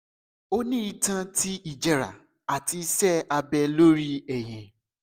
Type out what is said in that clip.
o ni itan ti ijẹra ati iṣẹ abẹ lori ẹhin